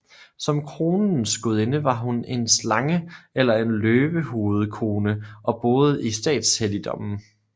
Som kronens gudinde var hun en slange eller en løvehovedkone og boede i statshelligdommen